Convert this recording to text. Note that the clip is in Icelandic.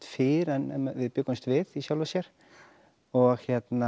fyrr en við bjuggumst við í sjálfu sér og